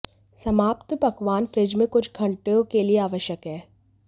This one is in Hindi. समाप्त पकवान फ्रिज में कुछ घंटों के लिए आवश्यक है